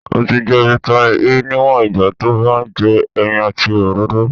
O ti je "vitamin E" niwon igba to ba n je eyin àti òróró.